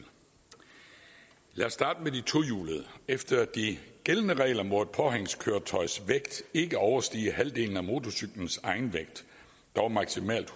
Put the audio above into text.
lad os starte med de tohjulede efter de gældende regler må et påhængskøretøjs vægt ikke overstige halvdelen af motorcyklens egenvægt dog maksimalt